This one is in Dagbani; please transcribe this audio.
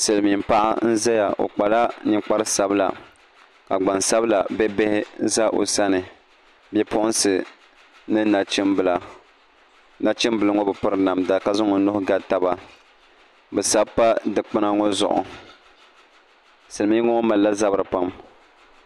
Silmiin paɣa n ʒɛya o kpala ninkpari sabila ka gbansabila bia bihi ʒɛ o sani bipuɣunsi ni nachimbila nachimbili ŋɔ bi piri namda ka zaŋ o nuhi ga taba bi sabi pa dikpuna ŋɔ zuɣu silmiingi ŋɔ malila zabiri pam